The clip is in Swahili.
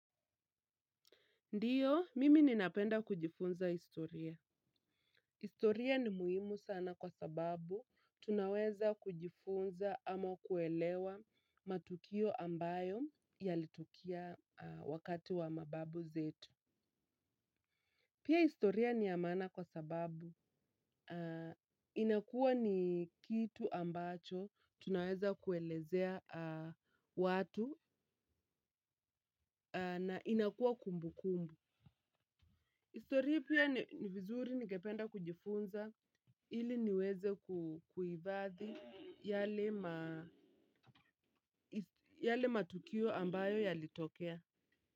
Ndio, mimi ninapenda kujifunza historia. Historia ni muhimu sana kwa sababu, tunaweza kujifunza ama kuelewa matukio ambayo yalitukia wakati wa mababu zetu. Pia historia ni ya maana kwa sababu inakuwa ni kitu ambacho tunaweza kuelezea watu, na inakuwa kumbukumbu. Historia pia ni vizuri ningependa kujifunza ili niweze kuifadhi yale ma yale matukio ambayo yalitokea.